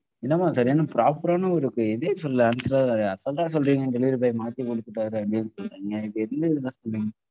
என்னம்மா சரியான proper ஆன ஒரு இதையே சொல்லல answer assault ஆ சொல்றீங்க delivery boy மாத்தி கொடுத்துட்டாரு அப்படின்னு சொல்றீங்க. இப்ப எதையுமே இப்படித்தான் சொல்லுவீங்களா